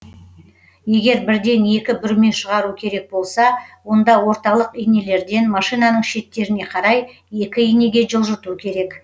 егер бірден екі бүрме шығару керек болса онда орталық инелерден машинаның шеттеріне қарай екі инеге жылжыту керек